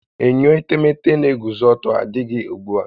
Enyo etemete n'eguzo ọtọ adịghị ugbu a